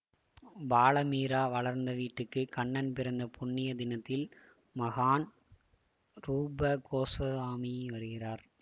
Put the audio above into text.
பால மீரா வளர்ந்த வீட்டுக்கு கண்ணன் பிறந்த புண்ணிய தினத்தில் மகான் ரூபகோஸவாமி வருகிறார்